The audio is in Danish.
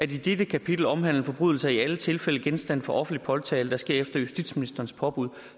de i dette kapitel omhandlede forbrydelser er i alle tilfælde genstand for offentlig påtale der sker efter justitsministerens påbud